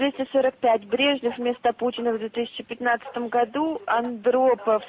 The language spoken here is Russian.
двести сорок пять брежнев вместо путина в две тысячи пятнадцатом году андропов